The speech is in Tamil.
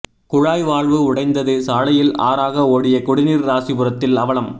குழாய் வால்வு உடைந்தது சாலையில் ஆறாக ஓடிய குடிநீர் ராசிபுரத்தில் அவலம்